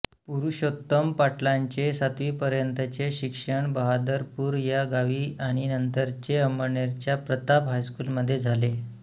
पुरुषोत्तम पाटलांचे सातवीपर्यंतचे शिक्षण बहादरपूर या गावी आणि नंतरचे अंमळनेरच्या प्रताप हायस्कूलमधे झाले